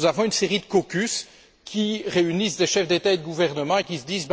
Nous avons une série de caucus qui réunissent des chefs d'États et de gouvernements et qui se disent